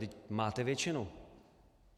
Vždyť máte většinu.